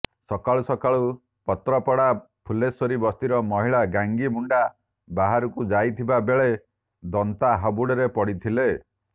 ସକାଳୁ ସକାଳୁ ପାତ୍ରପଡ଼ା ଫୁଲେଶ୍ୱରୀ ବସ୍ତିର ମହିଳା ଗାଙ୍ଗି ମୁଣ୍ଡା ବାହାରକୁ ଯାଇଥିବା ବେଳେ ଦନ୍ତା ହାବୁଡ଼ରେ ପଡ଼ିଥିଲେ